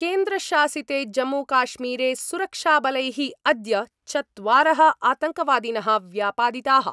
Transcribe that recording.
केन्द्रशासिते जम्मूकाश्मीरे सुरक्षाबलैः अद्य चत्वारः आतङ्कवादिनः व्यापादिताः।